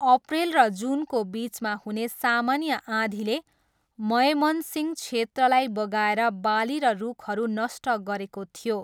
अप्रेल र जुनको बिचमा हुने सामान्य आँधीले मयमनसिंह क्षेत्रलाई बगाएर बाली र रुखहरू नष्ट गरेको थियो।